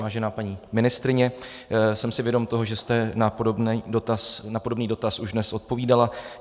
Vážená paní ministryně, jsem si vědom toho, že jste na podobný dotaz už dnes odpovídala.